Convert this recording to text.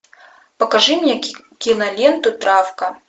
покажи мне киноленту травка